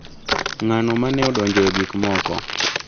Ng’ano ma ne odonjo e gik moko?